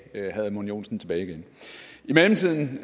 herre edmund joensen tilbage igen i mellemtiden